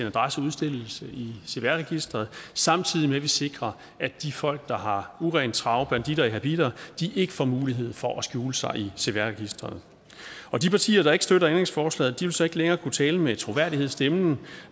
adresse udstillet i cpr registeret samtidig med at vi sikrer at de folk der har urent trav banditter i habitter ikke får mulighed for at skjule sig i cvr registeret de partier der ikke støtter ændringsforslaget vil så ikke længere kunne tale med troværdighed i stemmen